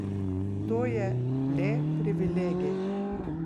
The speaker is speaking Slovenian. To je le privilegij.